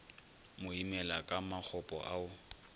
mo imela ka makgopo ao